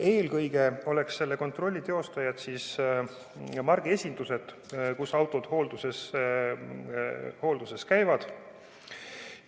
Eelkõige oleks selle kontrolli teostajad margiesindused, kus autod hoolduses käivad.